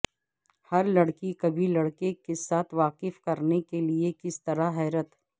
ہر لڑکی کبھی لڑکے کے ساتھ واقف کرنے کے لئے کس طرح حیرت